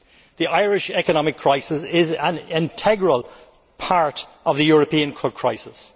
The Irish economic crisis is an integral part of the European crisis.